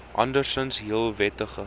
andersinds heel wettige